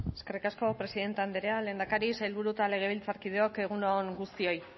eskerrik asko presidente andrea lehendakari sailburu eta legebitzarkideok egun on guztioi